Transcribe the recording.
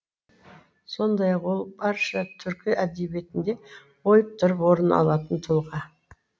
сондай ақ ол барша түркі әдебиетінде ойып тұрып орын алатын тұлға